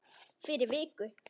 Fyrir viku.